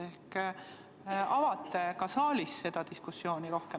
Ehk sa avad ka saalis seda diskussiooni rohkem.